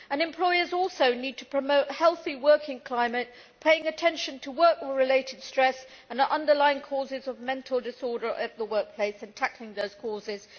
Employers also need to promote a healthy working climate, paying attention to work related stress and the underlying causes of mental disorder at the workplace, and tackling those causes.